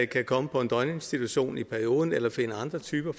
kan komme på en døgninstitution i perioden eller finde andre typer